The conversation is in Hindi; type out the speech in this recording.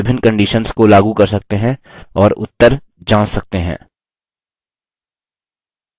हम इन पर विभिन्न conditions को लागू कर सकते हैं और उत्तर जाँच सकते हैं